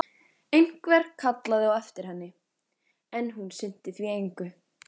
Einhver kallaði á eftir henni, en hún sinnti því engu.